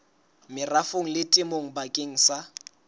merafong le temong bakeng sa